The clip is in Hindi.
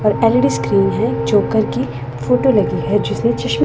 और एल_ई_डी स्क्रीन है जोकर की फोटो लगी है जिसने चश्मा--